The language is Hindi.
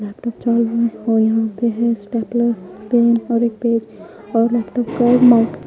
लैपटॉप चार्जिंग और यहां पे है स्टेपलर पेन और एक पेज और लैपटॉप का माउस --